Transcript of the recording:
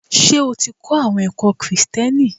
Ṣé o ti kọ́ àwọn ẹ̀kọ́ Kìrisìtìẹ́nì?